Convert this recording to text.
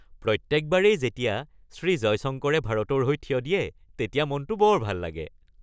প্ৰত্যেকবাৰেই যেতিয়া শ্ৰী জয়শংকৰে ভাৰতৰ হৈ থিয় দিয়ে, তেতিয়া মনটো বৰ ভাল লাগে